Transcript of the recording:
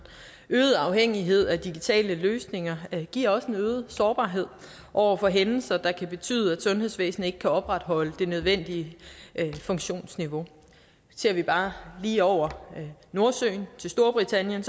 øget afhængighed af digitale løsninger giver også en øget sårbarhed over for hændelser der kan betyde at sundhedsvæsenet ikke kan opretholde det nødvendige funktionsniveau ser vi bare lige over nordsøen til storbritannien